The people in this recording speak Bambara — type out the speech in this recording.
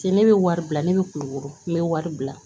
Se ne bɛ wari bila ne bɛ kulukoro n bɛ wari bila